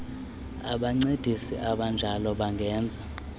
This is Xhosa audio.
abancedisi abanjalo bangenza